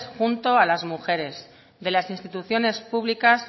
junto a las mujeres de las instituciones públicas